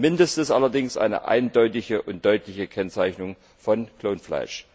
Das Mindeste ist allerdings eine eindeutige und deutliche Kennzeichnung von Klonfleisch.